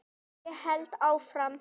Ég held áfram.